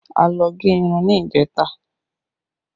A lọ gẹ irun ní ìjẹta